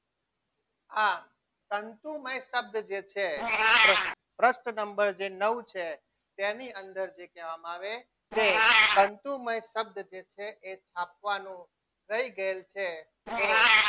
આ તંતુમય શબ્દ જે છે એ પૃષ્ઠ નંબર જે નવું છે તેની અંદર જે કહેવામાં આવે છે તંતુમય શબ્દ જે છે એ આપવાનો રહી ગયેલ છે તો